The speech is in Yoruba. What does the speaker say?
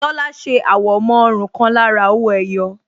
Tola ṣe àwọ̀mọ́ ọrùn kan lára owó ẹyọ